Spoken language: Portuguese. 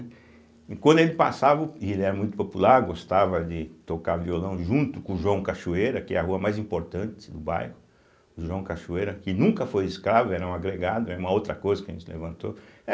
E quando ele passava, e ele era muito popular, gostava de tocar violão junto com o João Cachoeira, que é a rua mais importante do bairro, o João Cachoeira, que nunca foi escravo, era um agregado, era uma outra coisa que a gente levantou.